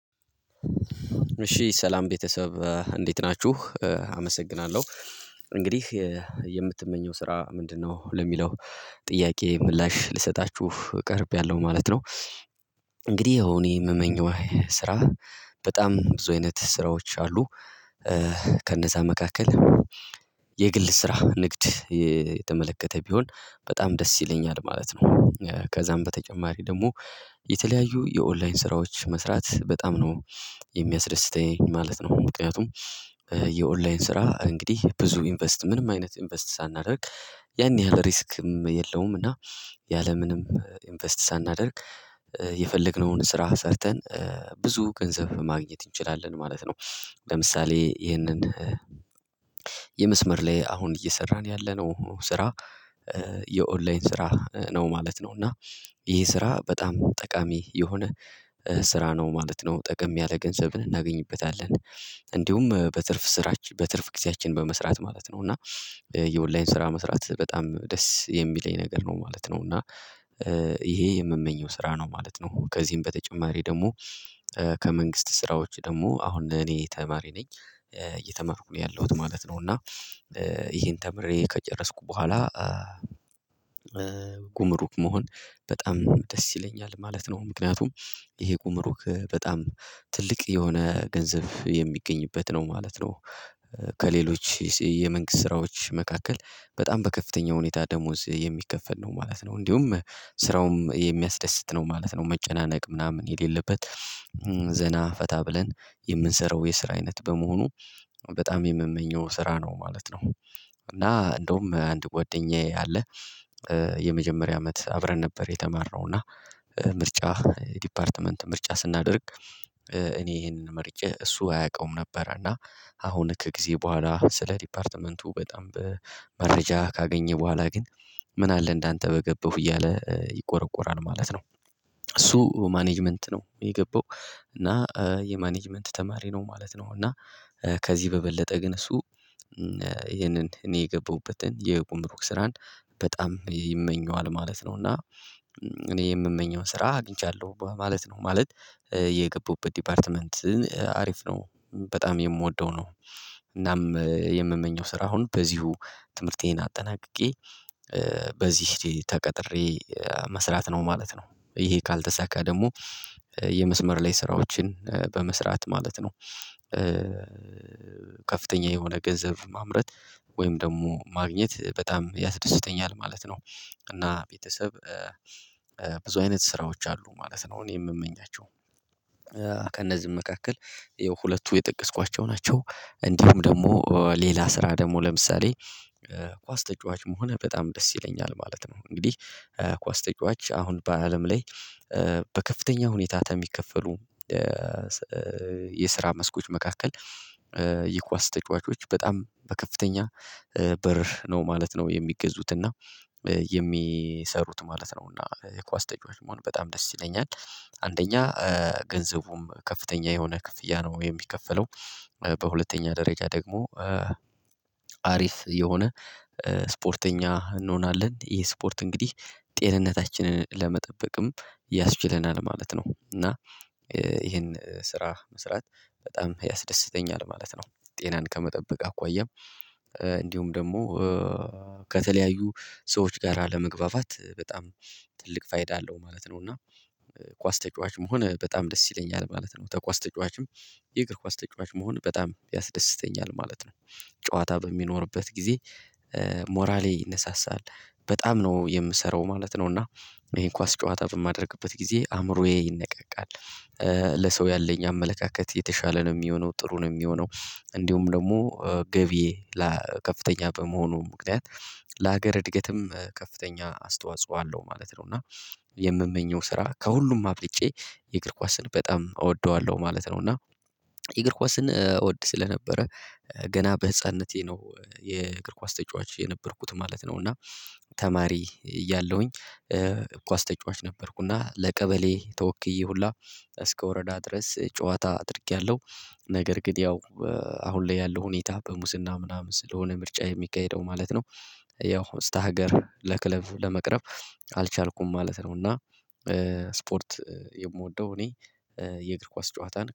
እሺ ሰላም ቤተሰብ እንዴት ናችሁ አመሰግናለሁ እንግዲህ የምትመኘው ስራ ምንድነው ለሚለው ጥያቄ ምላሽ ልሰጣችሁ ቀርቤያለሁ ማለት ነው። እንግዲህ እኔ የምመኘው ስራ በጣም ብዙ አይነት ስራዎች አሉ። ከነዛ መካከል የግል ስራ ንግድ የተመለከተ ቢሆን በጣም ደስ ይለኛል ማለት ነው። ከዛም በተጨማሪ ደግሞ የተለያዩ የኦንላይን ስራዎች መስራት በጣም ነው የሚያስደስተኝ ማለት ነው። ምክንያቱም የኦንላይን ስራ እንግዲህ ብዙ ኢንቨስት ምንም አይነት ኢንቨስት ሳናደርግ ያን ያህል ሪስክም የለውም። እና ያለምንም ኢንቨስት ሳናደርግ የፈለግነውን ስራ ሰርተን ብዙ ገንዘብ ማግኘት እንችላለን ማለት ነው። ለምሳሌ ይህንን የመስመር ላይ አሁን እየሰራን ያለነው ስራ የኦንላይን ስራ ነው ማለት ነው። እና ይሄ ስራ በጣም ጠቃሚ የሆነ ስራ ነው ማለት ነው ጠቀም ያለ ገንዘብን እናገኝበታለን። እንዲሁም በትርፍ ስራችን በትርፍ ጊዜያችን በመስራት ማለት ነው እና የኦንላይን ስራ መስራት በጣም ደስ የሚለኝ ነገር ነው ማለት ነው። እና ይሄ የምመኘው ስራ ነው ማለት ነው። ከዚህም በተጨማሪ ደግሞ ከመንግስት ስራዎች ደግሞ አሁን ለኔ ተማሪ ነኝ እየተመርኩ ነው ያለሁት ማለት ነው። እና ይሄን ተምሬ ከጨረስኩ በኋላ ጉምሩክ መሆን በጣም ደስ ይለኛል ማለት ነው። ምክንያቱም ይሄ ጉምሩክ በጣም ትልቅ የሆነ ገንዘብ የሚገኝበት ነው ማለት ነው። ከሌሎች የመንግስት ስራዎች መካከል በጣም በከፍተኛ ሁኔታ ደሞዝ የሚከፈል ነው ማለት ነው። እንዲሁም ስራውም የሚያስደስት ነው ማለት ነው መጨናነቅ ምናምን የሌለበት ዘና ፈታ ብለን የምንሰራው የስራ አይነት በመሆኑ በጣም የምመኘው ስራ ነው ማለት ነው። እና እንደውም አንድ ጓደኛዬ አለ። የመጀመሪያ አመት አብረን ነበር የተማርነው እና ምርጫ ዲፓርትመንት ምርጫ ስናደርግ እኔ ይሄንን ምርጫ እሱ አያውቀውም ነበር እና አሁን ከጊዜ በኋላ ስለ ዲፓርትመንቱ በጣም በመረጃ ካገኘ በኋላ ግን ምን አለ እንዳንተ በገባሁ እያለ ይቆረቁራል ማለት ነው። እሱ ማኔጅመንት ነው የገባው። እና የማኔጅመንት ተማሪ ነው ማለት ነው። እና ከዚህ በበለጠ ግን እሱ ይሄንን እኔ የገባሁበትን የቁምሩክ ስራን በጣም ይመኘዋል ማለት ነው። እና እኔ የምመኘውን ስራ አግኝቻለሁ ማለት ነው። ማለት የገቡበት ዲፓርትመንት አሪፍ ነው። በጣም የምወደው ነው። እናም የምመኘው ስራ አሁን በዚሁ ትምህርቴን አጠናቅቄ በዚህ ተቀጥሬ መስራት ነው ማለት ነው። ይሄ ካልተሳካ ደግሞ የመስመር ላይ ስራዎችን በመስራት ማለት ነው። ከፍተኛ የሆነ ገንዘብ ማምረት ወይም ደግሞ ማግኘት በጣም ያስደስተኛል ማለት ነው። እና ቤተሰብ ብዙ አይነት ስራዎች አሉ ማለት ነው እኔ የምመኛቸው ከእነዚህም መካከል የሁለቱ የጠቀስኳቸው ናቸው። እንዲሁም ደግሞ ሌላ ስራ ደግሞ ለምሳሌ ኳስ ተጫዋች መሆነ በጣም ደስ ይለኛል ማለት ነው። እንግዲህ ኳስ ተጫዋች አሁን በአለም ላይ በከፍተኛ ሁኔታ ተሚከፈሉ የስራ መስኮች መካከል የኳስ ተጫዋቾች በጣም በከፍተኛ ብር ነው ማለት ነው። የሚገዙትና የሚሰሩት ማለት ነው እና የኳስ ተጫዋች መሆን በጣም ደስ ይለኛል። አንደኛ ገንዘቡም ከፍተኛ የሆነ ክፍያ ነው የሚከፈለው። በሁለተኛ ደረጃ ደግሞ አሪፍ የሆነ ስፖርተኛ እንሆናለን ይሄ ስፖርት እንግዲህ ጤንነታችንን ለመጠበቅም ያስችለናል ማለት ነው። እና ይሄን ስራ መስራት በጣም ያስደስተኛል ማለት ነው። ጤናን ከመጠበቅ አኳያም እንዲሁም ደግሞ ከተለያዩ ሰዎች ጋር ለመግባባት በጣም ትልቅ ፋይዳ አለው ማለት ነው። እና ኳስ ተጫዋች መሆነ በጣም ደስ ይለኛል ማለት ነው። ተኳስ ተጫዋችም የእግር ኳስ ተጫዋች መሆን በጣም ያስደስተኛል ማለት ነው። ጨዋታ በሚኖርበት ጊዜ ሞራሌ ይነሳሳል በጣም ነው የምሰራው ማለት ነው እና ይሄን ኳስ ጨዋታ በማደርግበት ጊዜ አእምሮዬ ይነቃቃል። ለሰው ያለኝ አመለካከት የተሻለ ነው ሚሆነው ጥሩ ነው ሚሆነው እንዲሁም ደግሞ ገቢ ለከፍተኛ በመሆኑም ምክንያት ለሀገር እድገትም ከፍተኛ አስተዋጽኦ አለው ማለት ነው። እና የምመኘው ስራ ከሁሉም አብልጬ የእግር ኳስን በጣም እወደዋለሁ ማለት ነው። እና የእግር ኳስን እወድ ስለነበረ ገና በህፃንነቴ ነው የእግር ኳስ ተጫዋች የነበርኩት ማለት ነው። እና ተማሪ እያለሁኝ እኳስ ተጫዋች ነበርኩ እና ለቀበሌ ተወክዬ ሁላ እስከ ወረዳ ድረስ ጨዋታ አድርጌያለሁ። ነገር ግን ያው አሁን ላይ ያለው ሁኔታ በሙስና ምናምን ስለሆነ ምርጫ የሚካሄደው ማለት ነው። ያው ስታ ሀገር ለክለብ ለመቅረብ አልቻልኩም ማለት ነው። እና ስፖርት የምወደው እኔ የእግር ኳስ ጨዋታን